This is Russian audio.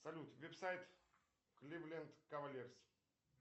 салют версайт кливленд кавальерс